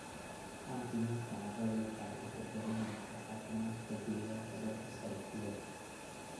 Caafimaadka carradu waxa uu ku xidhan yahay caafimaadka deegaanka dhulka sare ku yaal.